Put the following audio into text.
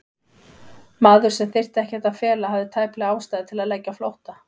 Maður, sem þyrfti ekkert að fela, hafði tæplega ástæðu til að leggja á flótta?